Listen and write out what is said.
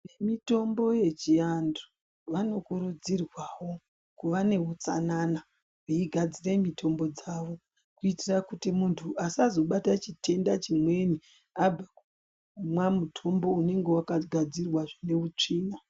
Vemitombo yechiantu vanokurudzirwawo kuva neutsanana veigadzire mitombo dzavo kuitira kuti muntu asazobata chitenda chimweni abve kumwa mutombo unenge wakagadzirwa zvine utsvina